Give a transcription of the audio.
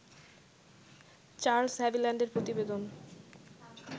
Charles হাভিল্যান্ডের প্রতিবেদন